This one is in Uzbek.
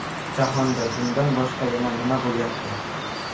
Jahonda bundan boshqa yana nima bo‘lyapti?